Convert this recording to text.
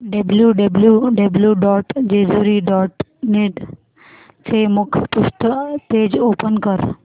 W W W dot Jejuri dot net चे मुखपृष्ठ page open कर